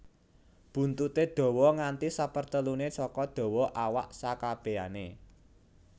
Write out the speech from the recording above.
Buntuté dawa nganti seperteluné saka dawa awak sekabèané